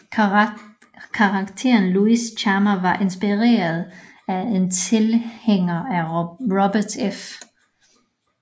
Karakteren Luis Chama var inspireret af en tilhænger af Robert F